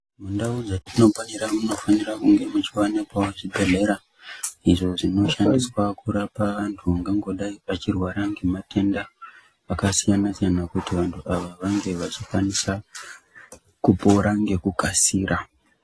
Mundau dzatinofabira munofanira kunge muchiwanikwawo zvibhedhlera izvo zvinoShandiswa kurapa anhu angangodai achirwara ngematenda Akasiyana siyana kuti vantu ava vange vachikwanisa kupora ngekukasira.